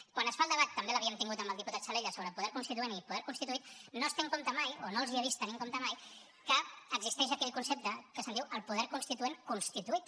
quan es fa el debat també l’havíem tingut amb el diputat salellas sobre poder constituent i poder constituït no es té en compte mai o no els he vist tenir en compte mai que existeix aquell concepte que se’n diu el poder constituent constituït